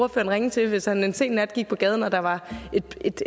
ringe til hvis han en sen nat gik på gaden og der var